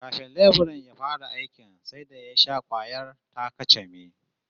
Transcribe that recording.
Kafin leburan ya fara aikin sai da ya sha kwayar ta-kacame